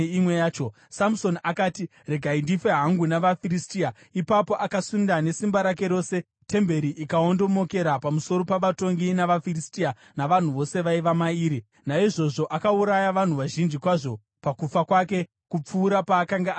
Samusoni akati, “Regai ndife hangu navaFiristia!” Ipapo akasunda nesimba rake rose, temberi ikaondomokera pamusoro pavatongi vavaFiristia navanhu vose vaiva mairi. Naizvozvo akauraya vanhu vazhinji kwazvo pakufa kwake kupfuura paakanga ari mupenyu.